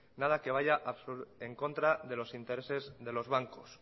nada que vaya en contra de los intereses de los bancos